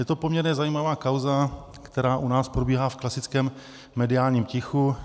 Je to poměrně zajímavá kauza, která u nás probíhá v klasickém mediálním tichu.